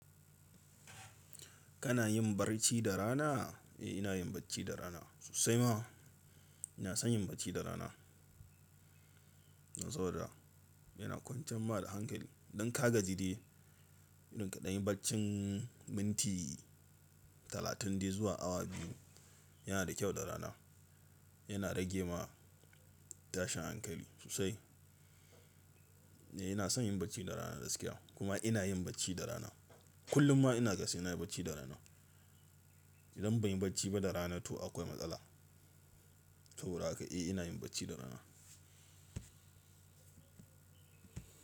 Kana yin barci da rana? Eh, ina yin bacci da rana sosai ma. Ina son yin bacci da rana. Don saboda yana kwantar ma da hankali. Don ka ga jide irin kaɗan yin bacci minti talatin dai zuwa awa biyu yana da kyau da rana. Yana rage ma tashin hankali sosai. Eh ina son yin bacci da rana gaskiya kuma ina yin bacci da rana. Kullum ma ina ga sai na yi bacci da rana. Idan ban yi bacci ba da rana to akwai matsala. Saboda haka eh ina yin bacci da rana.